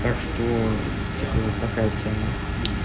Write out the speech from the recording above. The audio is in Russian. так что типа вот такая тема